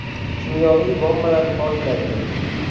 Kimyoviy bombalar portlaydi.